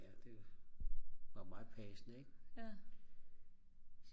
ja det var meget passende ikk